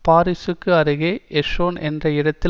பாரிசுக்கு அருகே எஸ்ஸோன் என்ற இடத்தில்